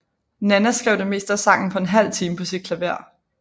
Nanna skrev det meste af sangen på en halv time på sit klaver